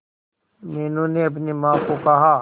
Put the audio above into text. मीनू ने अपनी मां को कहा